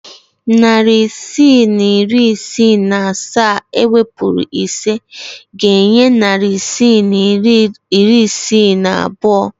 Narị isii na iri isii na asaa ewepuru ise ga-enye narị isii na iri isii na abụọ.